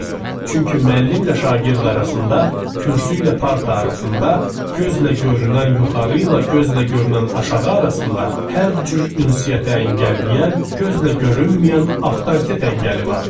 Çünki müəllimlə şagird arasında, kürsü ilə parta arasında, gözlə görünən yuxarı ilə gözlə görünən aşağı arasında, hər cür ünsiyyətə əngəlləyən, gözlə görünməyən avtoritet əngəli vardı.